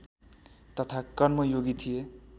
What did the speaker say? तथा कर्मयोगी थिए